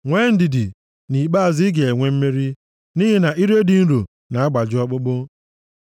Nwee ndidi, nʼikpeazụ ị ga-enwe mmeri, nʼihi na ire dị nro na-agbaji ọkpụkpụ.